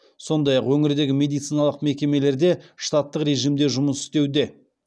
сондай ақ өңірдегі медициналық мекемелер де штаттық режимде жұмыс істеуде